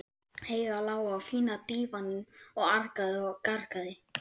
Heiða lá á fína dívaninum og argaði og gargaði.